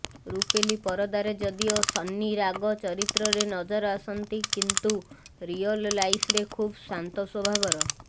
ରୂପେଲି ପରଦାରେ ଯଦିଓ ସନ୍ନି ରାଗ ଚରିତ୍ରରେ ନଜର ଆସନ୍ତି କିନ୍ତୁ ରିୟଲ୍ ଲାଇଫରେ ଖୁବ୍ ଶାନ୍ତ ସ୍ୱଭାବର